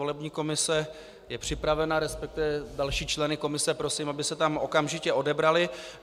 Volební komise je připravena, respektive další členy komise prosím, aby se tam okamžitě odebrali.